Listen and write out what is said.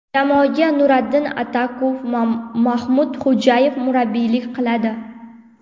Jamoaga Nuradin Atakov va Maxmud Xo‘jayev murabbiylik qiladi.